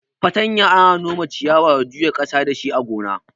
Fartanya ana nome ciyawa da juya ƙasa dashi a gona.